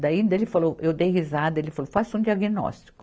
Daí ele falou, eu dei risada, ele falou, faça um diagnóstico.